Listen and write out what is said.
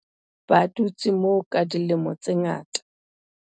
ba dutse moo ka dilemo tse ngata